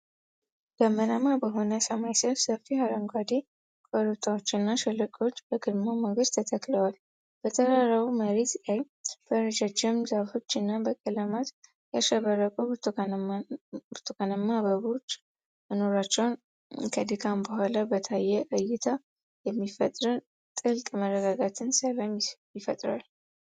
ደመናማ በሆነ ሰማይ ሥር ሰፊ አረንጓዴ ኮረብታዎችና ሸለቆዎች በግርማ ሞገስ ተተክለዋል። በተራራማው መሬት ላይ በረጃጅም ዛፎች እና በቀለማት ያሸበረቁ ብርቱካናማ አበባዎች መኖራቸው ከድካም በኋላ በታየ እይታ የሚፈጠርን ጥልቅ መረጋጋትና ሰላም ይፈጥራል።